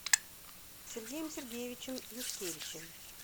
сергеем сергеевичем юшкевичем